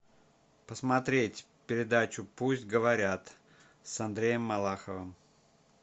посмотреть передачу пусть говорят с андреем малаховым